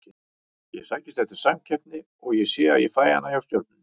Ég sækist eftir samkeppni og sé að ég fæ hana hjá Stjörnunni.